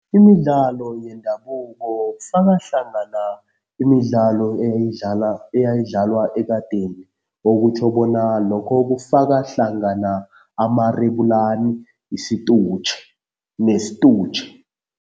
Imidlalo yendabuko kufaka hlangana imidlalo eyayidlalwa ekadeni. Okutjho bona lokho kufaka hlangana amarebulani, isitutjhe nesitutjhe.